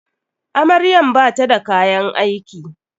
Amaryan bata da kayan aiki.